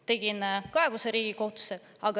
Tegin kaebuse Riigikohtusse.